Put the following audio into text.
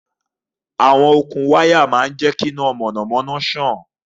Àwọn okùn máa ń ṣe iná mọ̀nàmọ́ná.